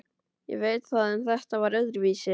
Ég veit það en þetta var öðruvísi.